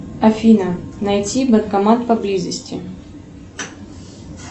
афина найти банкомат поблизости